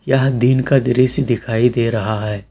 यह दिन का दृश्य दिखाई दे रहा है।